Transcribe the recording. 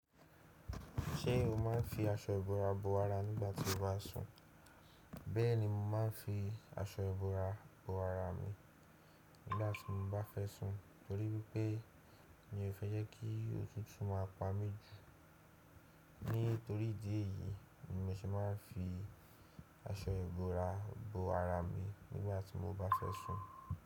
Ṣé o máa ń fi aṣọ ìbora bo ara nígbàtí o bá sùn? Bẹ́ẹ̀ni mo máa ń fi aṣọ ìbora bo ara mi nígbàtí mo bá fẹ́ sùn torí wípé mi ò fẹ́ jẹ́ kí otùtú máa pa mí jù. Nítorí ìdí èyí ni mo ṣe máa ń fi aṣọ ìbora bo ara mi nígbàtí mo bá fẹ́ sùn.